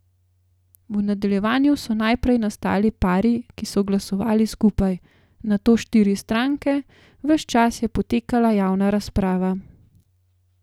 V nadaljevanju so najprej nastali pari, ki so glasovali skupaj, nato štiri stranke, ves čas je potekala javna razprava.